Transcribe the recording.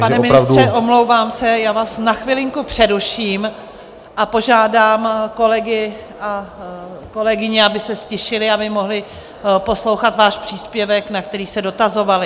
Pane ministře, omlouvám se, já vás na chvilinku přeruším a požádám kolegy a kolegyně, aby se ztišili, aby mohli poslouchat váš příspěvek, na který se dotazovali.